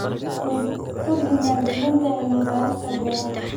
Kordhi maalgelinta cilmi-baarista beeraha.